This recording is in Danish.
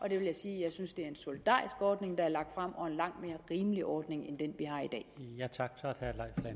jeg vil sige at jeg synes det er en solidarisk ordning der er lagt frem og en langt mere rimelig ordning end den